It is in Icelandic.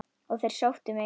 Og þeir sóttu mig.